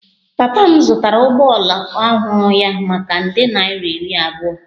Papa m zụtara ụgbọala ọhụrụ ya maka nde naira iri abụọ